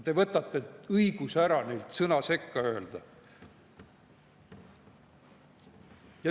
Te võtate ära õiguse sõna sekka öelda.